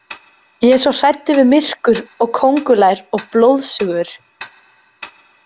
Ég er svo hræddur við myrkur og kóngulær og blóðsugur.